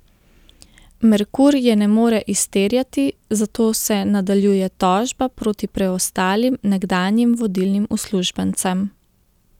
Merkur je ne more izterjati, zato se nadaljuje tožba proti preostalim nekdanjih vodilnim uslužbencem.